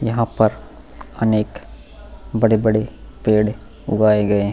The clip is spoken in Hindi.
यहाँ पर अनेक बड़े-बड़े पेड़ उगाए गए हैं।